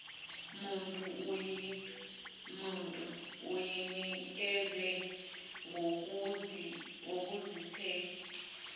muntu uyinikeze ngokuzikhethela